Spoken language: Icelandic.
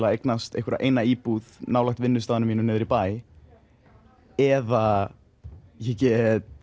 að eignast einhverja eina íbúð nálægt vinnustaðnum mínum niðri í bæ eða ég get